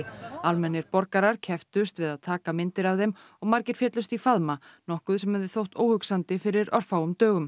almennir borgarar kepptust við að taka myndir af þeim og margir féllust í faðma nokkuð sem hefði þótt óhugsandi fyrir örfáum dögum